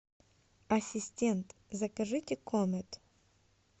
ассистент закажите комет